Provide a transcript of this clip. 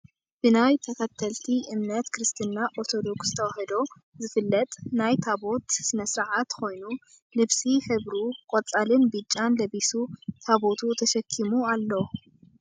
ብናይ ተከተልቲ እምነት ክርስትና ኦርቶዶክስ ተዋህዶ ዝፍለጥ ናይ ታቦት ሰነ ስርዓት ኮይኑ ልብሲ ሕብሩ ቆፃልን ቢጫን ለቢሱ ታቦቱ ተሐኪሙ ኣሎ ።